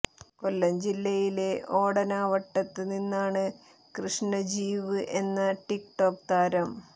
കൊല്ലം ജില്ലയിലെ ഓടനാവട്ടത്ത് നിന്നാണ് ക്രിഷ്ണജീവ് എന്ന ടിക് ടോക് താരം